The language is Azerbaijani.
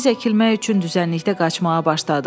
Biz əkilmək üçün düzənlikdə qaçmağa başladıq.